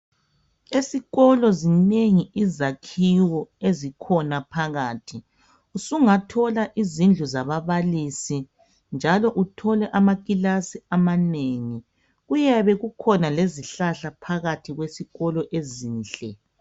Esikolo zinengi izakhiwo ezikhona phakathi, sungathola izindlu zababalisi njalo uthole amakilasi amanengi. Kuyabe kukhona lezihlahla phakathi kwesikolo ezinhle.